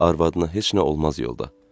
Arvadına heç nə olmaz yolda.